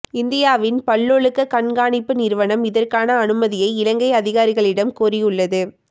இந்தியாவின் பல்லொழுக்க கண்காணிப்பு நிறுவனம் இதற்கான அனுமதியை இலங்கை அதிகாரிகளிடம் கோரியுள்ளது